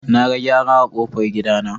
Naga gyare a kofar gidana.